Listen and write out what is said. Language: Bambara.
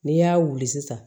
N'i y'a wuli sisan